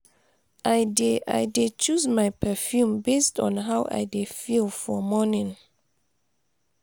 i dey i dey choose my perfume based on how i dey feel for morning.